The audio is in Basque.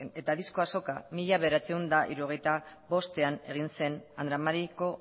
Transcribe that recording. eta disko azoka mila bederatziehun eta hirurogeita bostean egin zen andra mariko